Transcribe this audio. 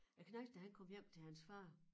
Æ knejt da han kom hjem til hans far